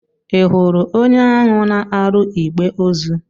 Ị hụru onye ahụ na-arụ igbè ozu?